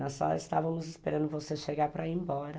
Nós só estávamos esperando você chegar para ir embora.